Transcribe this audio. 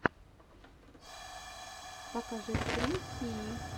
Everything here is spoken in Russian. покажи стрим сии